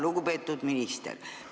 Lugupeetud minister!